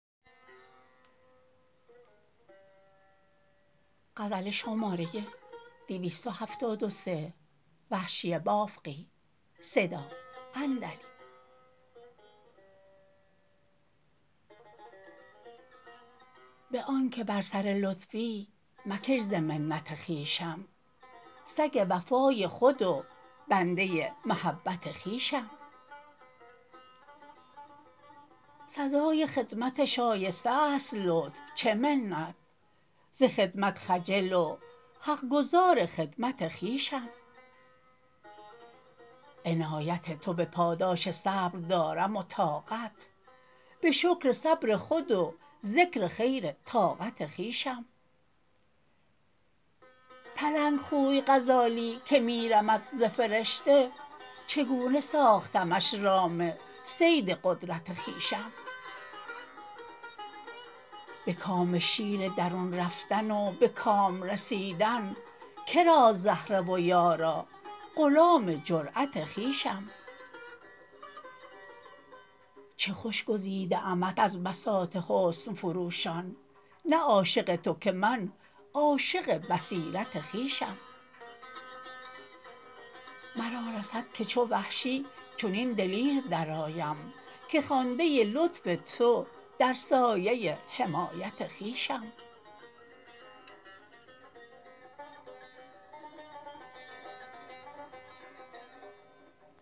به آنکه بر سرلطفی مکش ز منت خویشم سگ وفای خود و بنده محبت خویشم سزای خدمت شایسته است لطف چه منت ز خدمتم خجل و حقگزار خدمت خویشم عنایت تو به پاداش صبردارم و طاقت به شکر صبر خود و ذکر خیرطاقت خویشم پلنگ خوی غزالی که می رمد ز فرشته چگونه ساختمش رام صید قدرت خویشم به کام شیر درون رفتن و به کام رسیدن کراست زهره و یارا غلام جرأت خویشم چه خوش گزیده امت از بساط حسن فروشان نه عاشق تو که من عاشق بصیرت خویشم مرا رسد که چو وحشی چنین دلیر درآیم که خوانده لطف تو در سایه حمایت خویشم